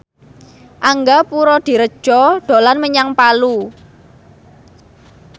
Angga Puradiredja dolan menyang Palu